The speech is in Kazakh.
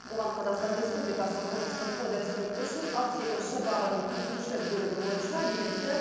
оған қазақстан республикасы қылмыстық кодексінің үш жүз алпыс екінші бабының төртінші бөлігі бойынша билікті